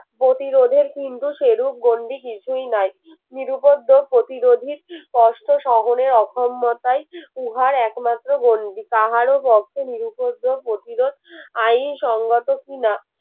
প্রতিরোধের কিন্তু সেরূপ গন্ডি কিছুই নাই নিরুপদ প্রতিরোধের কষ্ট শহরের অসম্মতায় উহার একমাত্র গন্ডি তাহারও পক্ষে নিরুপদ্রব প্রতিরোধ আইনসঙ্গত কিনা